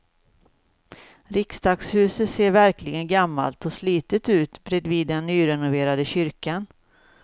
Riksdagshuset ser verkligen gammalt och slitet ut bredvid den nyrenoverade kyrkan.